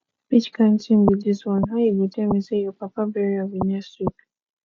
which kin thing be dis one how you go dey tell me say your papa burial be next week